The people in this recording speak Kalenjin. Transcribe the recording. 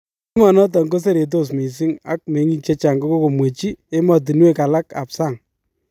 Emonoton ko seretos missing , ak meng'ik chechang kokomwechi emotunywek alak ab sang'